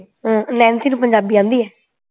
ਹਮ Nancy ਨੂੰ ਪੰਜਾਬੀ ਆਂਦੀ ਹੈ